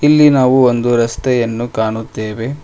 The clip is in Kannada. ಇಲ್ಲಿ ನಾವು ಒಂದು ರಸ್ತೆಯನ್ನು ಕಾಣುತ್ತೇವೆ.